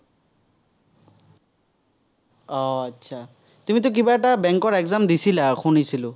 আহ তুমিতো কিবা এটা bank ৰ exam দিছিলা, শুনিছিলো।